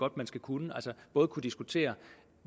at man skal kunne altså både kunne diskutere